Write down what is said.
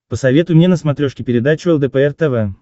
посоветуй мне на смотрешке передачу лдпр тв